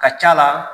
Ka c'a la